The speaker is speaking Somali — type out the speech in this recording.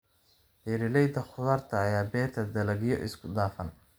Beeralayda khudaarta ayaa beera dalagyo isku dhafan.